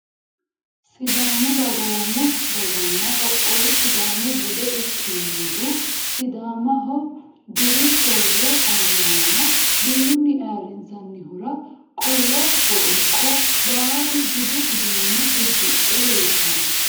Sidaamu dagoomu dagana qoqowu sidaamu bude ikinohu sidaamaho diru sooro ayaana diruni ayirinsanihura qollo wonqqo baalu budu uduune udidhe leeltano.